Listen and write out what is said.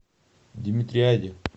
димитриади